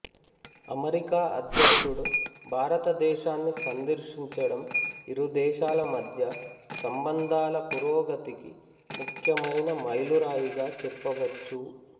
America అధ్యక్షుడు భారతదేశాన్ని సందర్శించడం ఇరు దేశాల మధ్య సంబంధాల పురోగతికి ముఖ్యమైన మైలురాయిగా చెప్పవచ్చు